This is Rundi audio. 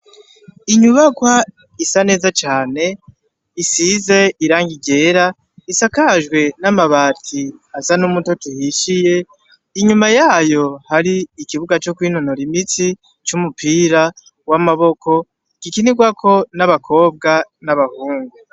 Inyubakwa isa neza cane isize irangi ryera isakajwe n'amabati asa n'umutoto uhishiye, inyuma yayo har 'ikibuga co kwinonora imitsi gikinirwako n'abakobwa n'abahungu.